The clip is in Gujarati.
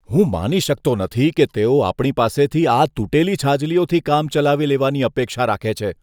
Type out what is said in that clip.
હું માની શકતો નથી કે તેઓ આપણી પાસેથી આ તૂટેલી છાજલીઓથી કામ ચલાવી લેવાની અપેક્ષા રાખે છે.